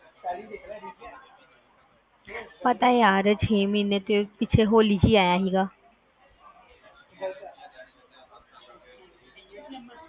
ਪਤਾ ਯਾਰ ਛੇ ਮਹੀਨੇ ਪਿੱਛੇ ਹੋਲੀ ਚ ਆਇਆ ਸੀ